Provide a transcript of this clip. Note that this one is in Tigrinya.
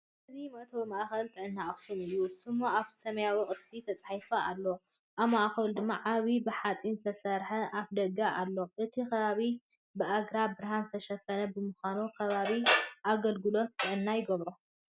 እዚ መእተዊ ማእኸል ጥዕና ኣኽሱም እዩ፤ ስሙ ኣብ ሰማያዊ ቅስትን ተጻሒፉ ኣሎ፣ ኣብ ማእከሉ ድማ ዓቢ ብሓጺን ዝተሰርሐ ኣፍደገ ኣሎ። እቲ ከባቢ ብኣግራብን ብርሃንን ዝተሸፈነ ብምዃኑ፡ ከባቢ ኣገልግሎት ጥዕና ይገብሮ።